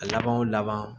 A laban o laban